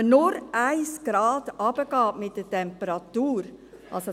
Dies schon nur, wenn man um 1 Grad mit der Temperatur hinuntergeht.